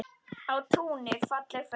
Á túni falleg föng.